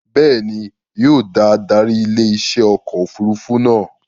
Bẹ́ẹ̀ni, yóò da adarí ilé iṣẹ́ ọkọ̀ òfurufú náà